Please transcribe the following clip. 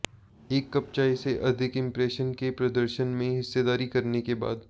एक कप चाय से अधिक इंप्रेशन के प्रदर्शन में हिस्सेदारी करने के बाद